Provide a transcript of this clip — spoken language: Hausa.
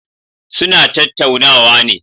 Suna tattaunawa ne.